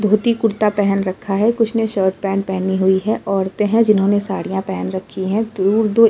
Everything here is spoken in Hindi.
धोती कुर्ता पहन रखा है। कुछ ने शर्ट पैंट पहनी हुई है। औरतें हैं जिन्होंने साड़ियां पहन रखी हैं। दूर-दूर --